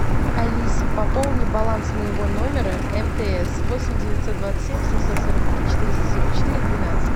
алиса пополни баланс моего номера мтс восемь девятьсот двадцать семь семьсот сорок три четыреста сорок четыре двенадцать